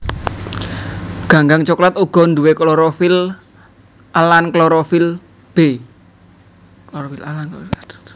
Ganggang soklat uga duwé klorofil a lan klorofil b